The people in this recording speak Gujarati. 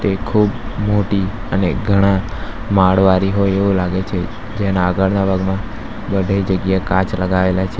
તે ખૂબ મોટી અને ઘણા માળવારી હોય એવું લાગે છે જેના આગળના ભાગમાં બઢી જગ્યાએ કાચ લગાવેલા છે.